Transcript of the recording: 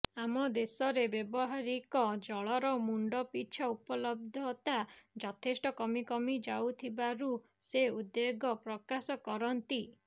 ଆମ ଦେଶରେ ବ୍ୟାବହାରିକ ଜଳର ମୁଣ୍ଡପିଛା ଉପଲବ୍ଧତା ଯଥେଷ୍ଟ କମିକମି ଯାଉଥିବାରୁ ସେ ଉଦ୍ବେଗ ପ୍ରକାଶ କରନ୍ତି